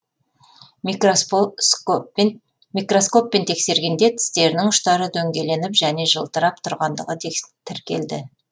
микроскоппен тексергенде тістерінің ұштары дөңгеленіп және жылтырап тұрғандығы тіркелді